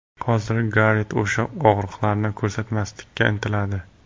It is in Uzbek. Hozir Garet o‘sha og‘riqlarni ko‘rsatmaslikka intiladi.